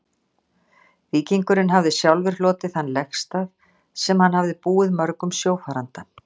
Víkingurinn hafði sjálfur hlotið þann legstað, sem hann hafði búið mörgum sjófaranda.